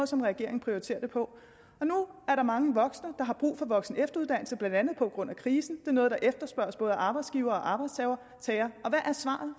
som regeringen prioriterer det på nu er der mange voksne der har brug for voksen og efteruddannelse blandt andet på grund af krisen er noget der efterspørges af både arbejdsgivere og arbejdstagere